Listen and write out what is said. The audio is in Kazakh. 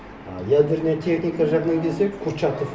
а ядерная техника жағынан келсек курчатов